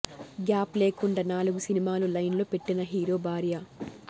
gap లేకుండా నాలుగు సినిమాలు లైన్ లో పెట్టిన హీరో భార్య